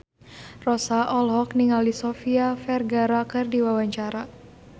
Rossa olohok ningali Sofia Vergara keur diwawancara